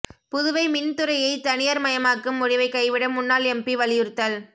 புதுவை மின் துறையை தனியாா்மயமாக்கும் முடிவை கைவிட முன்னாள் எம்பி வலியுறுத்தல்